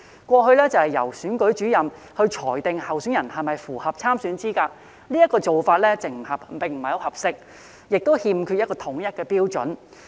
過去由選舉主任裁定候選人是否符合參選資格，這個做法並不合適，亦欠缺統一標準。